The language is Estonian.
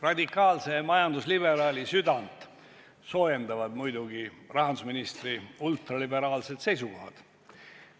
Radikaalse majandusliberaali südant soojendavad muidugi rahandusministri ultraliberaalsed seisukohad.